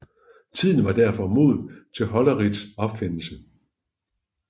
Tiden var derfor moden til Holleriths opfindelse